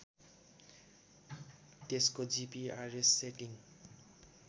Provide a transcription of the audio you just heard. त्यसको GPRS setting